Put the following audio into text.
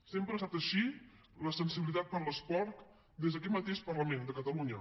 sempre ha estat així la sensibilitat per l’esport des d’aquest mateix parlament de catalunya